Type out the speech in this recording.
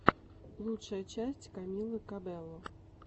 лучшая часть камилы кабелло